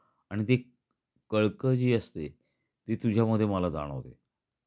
आणि ती काळकजी असते ती तुझ्या मध्ये मला जाणवल.